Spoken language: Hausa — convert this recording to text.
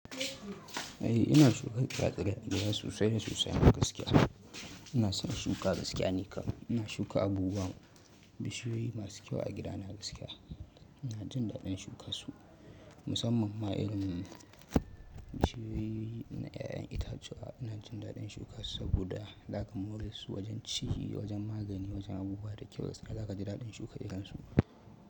Eh ina shuka tsira-tsirai a gida sosai da sosai a gaskiya. Ina son shuka gaskiya ni kam. Ina shuka abubuwa, bishiyoyi masu kyau a gida na gaskiya. Ina jin daɗin shuka su musamman ma irin bishiyoyi na ƴaƴan itatuwa ina jin daɗin shuka su saboda zaka more su wajen ciki wajen magani wajen abubuwa da kyau gaskiya zakaji daɗin shuka irin su.